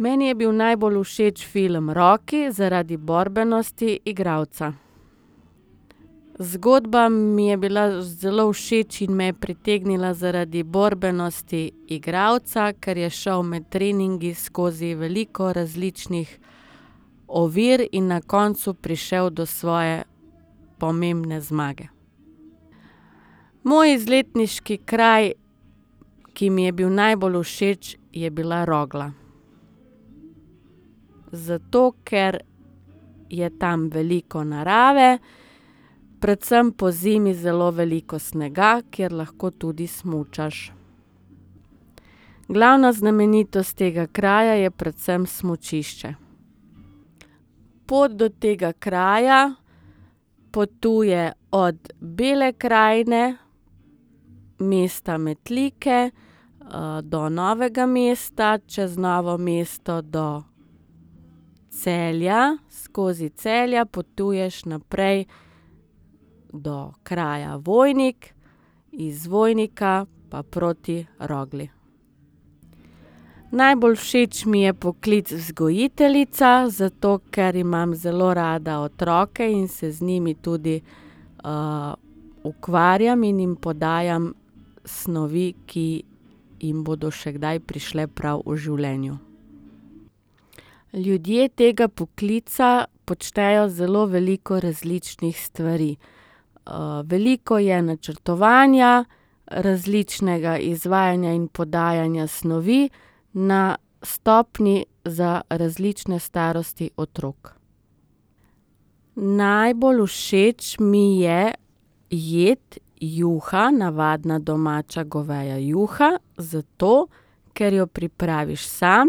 Meni je bil najbolj všeč film Rocky zaradi borbenosti igralca. Zgodba mi je bila zelo všeč in me je pritegnila zaradi borbenosti igralca, ker je šel med treningi skozi veliko različnih ovir in na koncu prišel do svoje pomembne zmage. Moj izletniški kraj, ki mi je bil najbolj všeč, je bila Rogla. Zato ker je tam veliko narave, predvsem pozimi zelo veliko snega, kjer lahko tudi smučaš. Glavna znamenitost tega kraja je predvsem smučišče. Pot do tega kraja potuje od Bele krajine, mesta Metlike, do Novega mesta, čez Novo mesto do Celja, skozi Celje potuješ naprej do kraja Vojnik, iz Vojnika pa proti Rogli. Najbolj všeč mi je poklic vzgojiteljica, zato ker imam zelo rada otroke in se z njimi tudi, ukvarjam in jim podajam snovi, ki jim bodo še kdaj prišle prav v življenju. Ljudje tega poklica počnejo zelo veliko različnih stvari. veliko je načrtovanja, različnega izvajanja in podajanja snovi na stopnji za različne starosti otrok. Najbolj všeč mi je jed juha, navadna domača goveja juha, zato ker jo pripraviš sam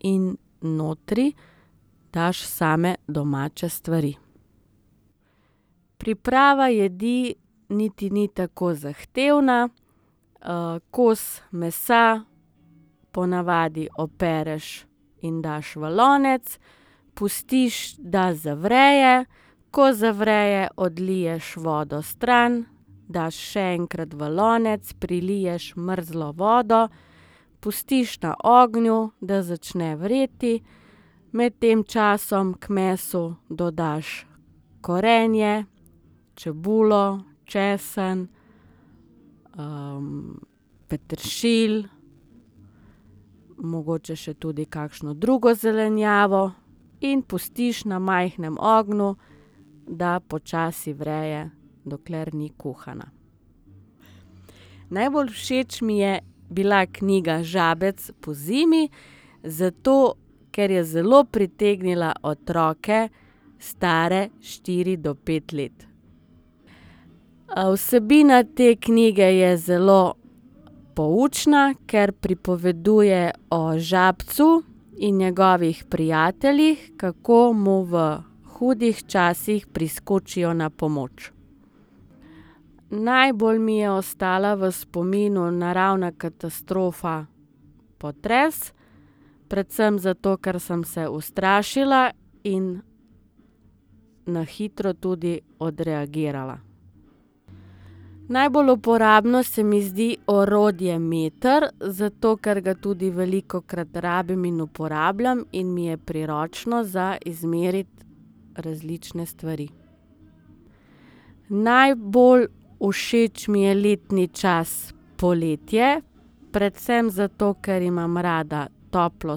in notri daš same domače stvari. Priprava jedi niti ni tako zahtevna. kos mesa po navadi opereš in daš v lonec, pustiš, da zavre. Ko zavre, odliješ vodo stran, daš še enkrat v lonec, priliješ mrzlo vodo, pustiš na ognju, da začne vreti. Med tem časom k mesu dodaš korenje, čebulo, česen, peteršilj, mogoče še tudi kakšno drugo zelenjavo in pustiš na majhnem ognju, da počasi vre, dokler ni kuhana. Najbolj všeč mi je bila knjiga Žabec pozimi, zato ker je zelo pritegnila otroke, stare štiri do pet let. vsebina te knjige je zelo poučna, ker pripoveduje o žabcu in njegovih prijateljih, kako mu v hudih časih priskočijo na pomoč. Najbolj mi je ostala v spominu naravna katastrofa potres, predvsem zato, ker sem se ustrašila in na hitro tudi odreagirala. Najbolj uporabno se mi zdi orodje meter, zato ker ga tudi velikokrat rabim in uporabljam in mi je priročno za izmeriti različne stvari. Najbolj všeč mi je letni čas poletje, predvsem zato, ker imam rada toplo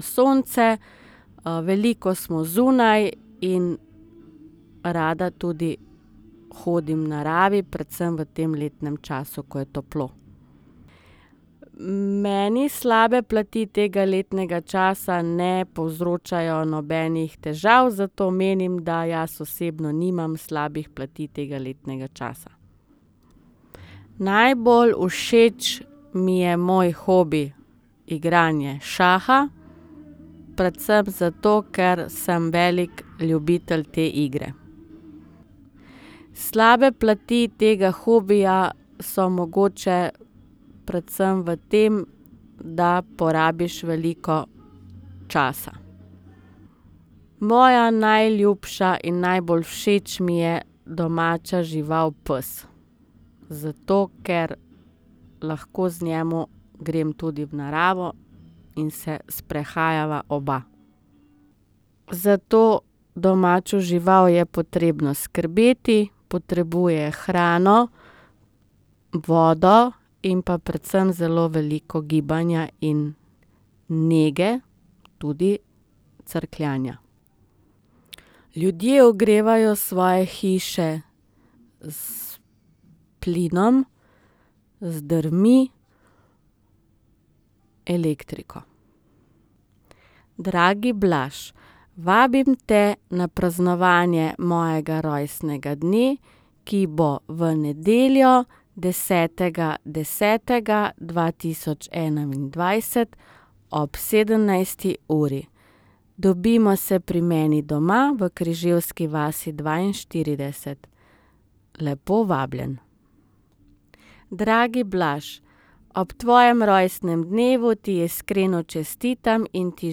sonce, veliko smo zunaj in rada tudi hodim v naravi, predvsem v tem letnem času, ko je toplo. Meni slabe plati tega letnega časa ne povzročajo nobenih težav, zato menim, da jaz osebno nimam slabih plati tega letnega časa. Najbolj všeč mi je moj hobi igranje šaha, predvsem zato, ker sem velik ljubitelj te igre. Slabe plati tega hobija so mogoče predvsem v tem, da porabiš veliko časa. Moja najljubša in najbolj všeč mi je domača žival pes. Zato ker lahko z njim grem tudi v naravo in se sprehajava oba. Za to domačo žival je potrebno skrbeti, potrebuje hrano, vodo in pa predvsem zelo veliko gibanja in nege, tudi crkljanja. Ljudje ogrevajo svoje hiše s plinom, z drvmi, elektriko. Dragi Blaž, vabim te na praznovanje mojega rojstnega dne, ki bo v nedeljo, desetega desetega dva tisoč enaindvajset ob sedemnajsti uri. Dobimo se pri meni doma v Križevski vasi dvainštirideset. Lepo vabljen. Dragi Blaž, ob tvojem rojstnem dnevu ti iskreno čestitam in ti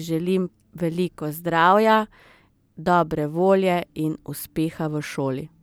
želim veliko zdravja, dobre volje in uspeha v šoli.